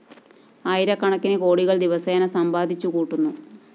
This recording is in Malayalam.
ആയിരക്കണക്കിന് കോടികള്‍ ദിവസേന സമ്പാദിച്ചു കൂട്ടുന്നു